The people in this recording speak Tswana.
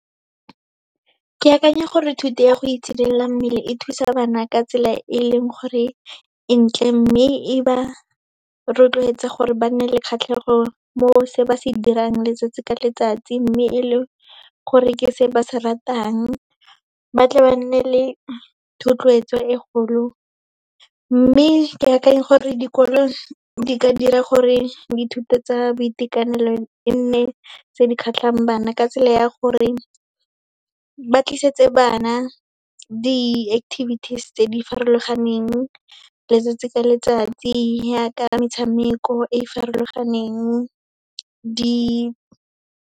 Ke akanya gore thuto ya go itshidila mmele e thusa bana ka tsela e e leng gore e ntle, mme e ba rotloetsa gore ba nne le kgatlhego mo se ba se dirang letsatsi ka letsatsi, mme e le gore ke se ba se ratang, ba tle ba nne le thotloetso e kgolo. Mme ke akanya gore dikolo di ka dira gore dithuto tsa boitekanelo e nne tse di kgatlhang bana, ka tsela ya gore ba tlisetsa bana di-activities tse di farologaneng, letsatsi ka letsatsi yaka metshameko e e farologaneng, di.